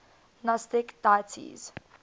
gnostic deities